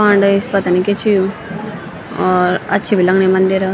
कांडे स पता नि क्या च यो और अच्छी बि लगणी मंदिर।